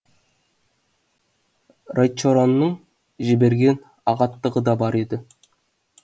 райчоронның жіберген ағаттығы да бар еді